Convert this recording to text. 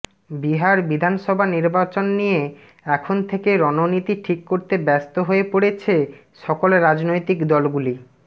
বিহার বিধানসভা নির্বাচন নিয়ে এখন থেকে রণনীতি ঠিক করতে ব্যস্ত হয়ে পড়েছে সকল রাজনৈতিক দলগুলি